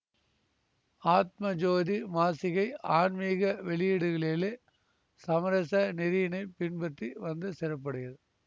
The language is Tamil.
ஆத்மஜோதி மாசிகை ஆன்மீக வெளியீடுகளிலே சமரச நெறியினைப் பின்பற்றி வந்த சிறப்புடையது